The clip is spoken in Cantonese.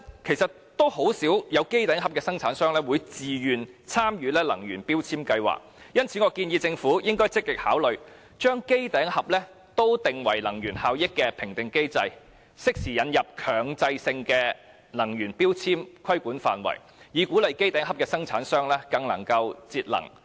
可是，甚少會有機頂盒生產商自願參與強制性標籤計劃。因此，我建議政府積極考慮把機頂盒納入能源效益的評核機制，適時引入強制性的能源標籤規管範圍，以鼓勵機頂盒生產商更注重節能。